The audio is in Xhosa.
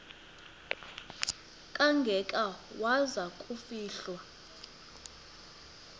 kangaka waza kufihlwa